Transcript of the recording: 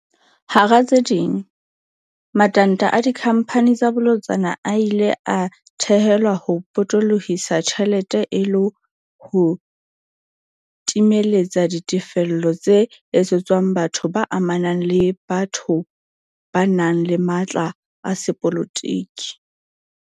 Hara tse ding, matanta a dikhamphani tsa bolotsana a ile a thehelwa ho potolo hisa ditjhelete e le ho timeletsa ditefello tse etsetswang batho ba amanang le batho ba nang le matla a sepolotiki.